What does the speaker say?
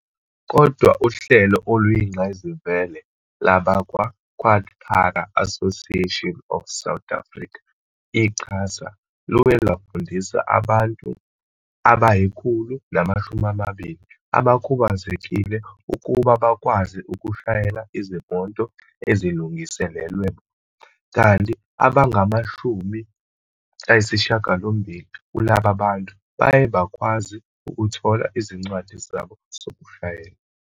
Kodwa uhlelo oluyingqayizivele lwabakwa-QuadPara Association of South Africa, i-QASA, luye lwafundisa abantu abayikhulu lamashumi amabili abakhubazekile ukuba bakwazi ukushayela izimoto ezilungiselelwe bona, kanti abangamashumi ayisishagalombili kulaba bantu baye bakwazi ukuthola izincwadi zabo zokushayela.